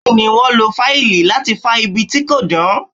Bẹ́ẹ̀ ni, wọ́n lo fáìlì láti fá ibi tí kò dán.